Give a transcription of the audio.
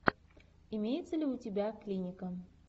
имеется ли у тебя клиника